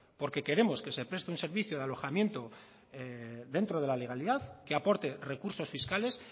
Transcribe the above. porque queremos que se preste un servicio de alojamiento dentro de la legalidad que aporte recursos fiscales